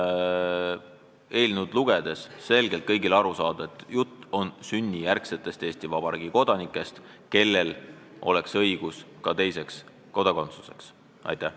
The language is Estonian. See eelnõu ütleb selgelt ja kõigile arusaadavalt, et jutt on sünnijärgsetest Eesti Vabariigi kodanikest, kellel oleks õigus ka teisele kodakondsusele.